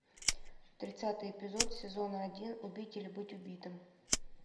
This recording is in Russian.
тридцатый эпизод сезона один убить или быть убитым